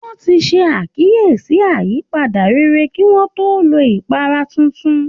Wọ́n ti ṣe àkíyèsí ìyípadà rere kí wọ́n tó lo ipara tuntun